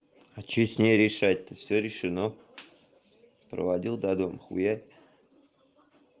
а что с ней решать то всё решено проводил до дома хуярь